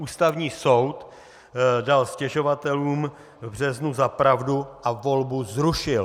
Ústavní soud dal stěžovatelům v březnu za pravdu a volbu zrušil!